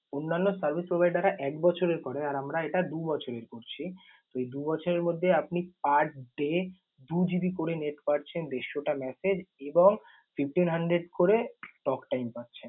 অন্যান্য service provider রা এক বছরের করে, আর আমরা এটা দু বছরের করছি। তো এই দু বছরের মধ্যে আপনি per day দু GB করে net পাচ্ছেন, দেড়শটা message এবং fifteen hundred করে talktime পাচ্ছেন।